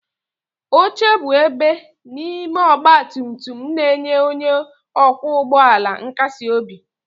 Oche bụ ebe n'ime ọgba tum tum na-enye onye ọkwọ ụgbọ ala nkasi obi.